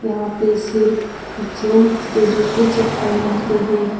यहाँ पर सिर्फ जेंट्स के जूते चप्पल मिलते हैं।